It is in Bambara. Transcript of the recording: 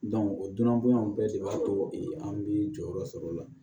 o dunan bonya bɛɛ de b'a to an bi jɔyɔrɔ sɔrɔ o la